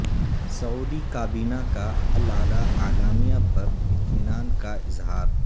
سعودی کابینہ کا العلا اعلامیہ پر اطمینان کا اظہار